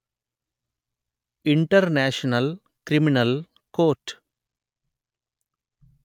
international criminal court